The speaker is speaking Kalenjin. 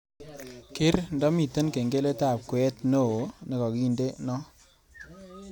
Keer ndamiten kengeletab kweet neeo negagindeno